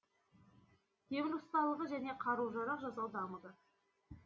темір ұсталығы және қару жарақ жасау дамыды